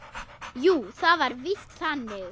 Jú, það var víst þannig.